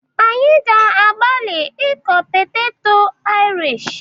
Anyị ga-agbalị ịkọ poteto Irish